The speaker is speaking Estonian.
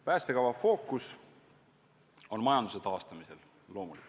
Päästekava fookus on loomulikult majanduse taastamisel.